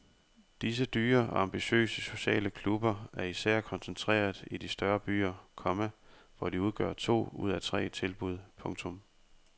Disse dyre og ambitiøse sociale klubber er især koncentreret i de større byer, komma hvor de udgør to ud af tre tilbud. punktum